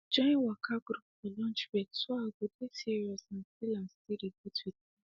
join waka group for lunch break so i go dey serious and still and still relate with people